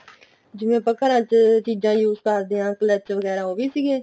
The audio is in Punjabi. ਜਿਵੇਂ ਆਪਾਂ ਘਰਾਂ ਚ ਚੀਜ਼ਾਂ use ਕਰਦੇ ਆ clutch ਵਗੈਰਾ ਉਹ ਵੀ ਸੀਗੇ